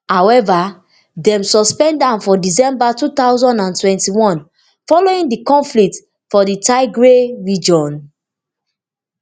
however dem suspend am for december two thousand and twenty-one following di conflict for di tigray region